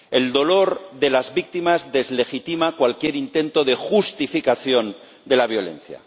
El dolor de las víctimas deslegitima cualquier intento de justificación de la violencia.